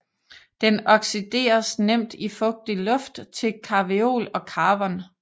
Den oxideres nemt i fugtig luft til carveol og carvon